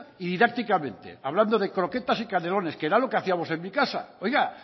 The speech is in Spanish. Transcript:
y didácticamente hablando de croquetas y canelones que era lo que hacíamos en mi casa oiga